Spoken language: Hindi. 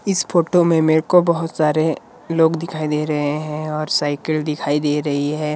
इस फोटो में मेरे को बहुत सारे लोग दिखाई दे रहे हैं और साइकिल दिखाई दे रहे हैं।